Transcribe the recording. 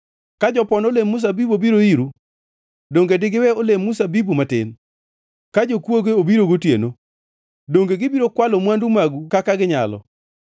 Ka jopon olemb mzabibu obiro iru, donge digiwe olemb mzabibu matin? Ka jokwoge obiro gotieno, donge gibiro kwalo mwandu magu kaka ginyalo?